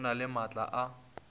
e na le maatla a